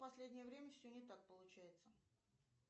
в последнее время все не так получается